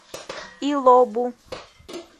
илобу